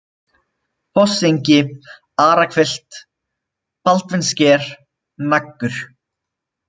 Fossengi, Arahvilft, Baldvinssker, Naggur